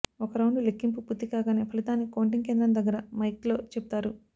ఒక రౌండు లెక్కింపు పూర్తి కాగానే ఫలితాల్ని కౌంటింగ్ కేంద్రం దగ్గర మైక్లో చెబుతారు